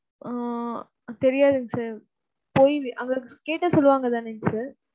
ஆஹ் தெரியாதுங்க sir போய் அங்க கேட்டா சொல்வாங்க தானே sir.